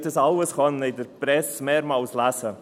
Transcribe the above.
Das alles konnten Sie in der Presse mehrmals lesen.